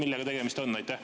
Millega tegemist on?